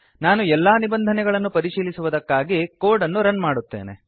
ನಾನು ಎಲ್ಲಾ ನಿಬಂಧನೆಗಳನ್ನು ಪರಿಶೀಲಿಸುವುದಕ್ಕಾಗಿ ಕೋಡ್ ಅನ್ನು ರನ್ ಮಾಡುತ್ತೇನೆ